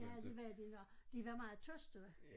Ja det var de når de var meget tyste